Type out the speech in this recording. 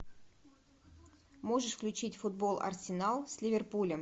можешь включить футбол арсенал с ливерпулем